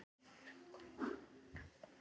Innrætið, ég held að það sé innrætið miklu fremur.